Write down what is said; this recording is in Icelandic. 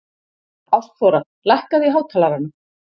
Ástþóra, lækkaðu í hátalaranum.